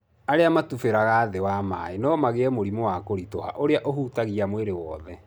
Arĩa matubĩraga thĩ wa maĩ no magĩe mũrimũ wa kũritũha ũrĩa ũhutagia mwĩrĩ wothe.